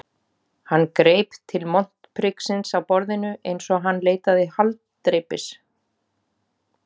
Hann greip til montpriksins á borðinu einsog hann leitaði haldreipis.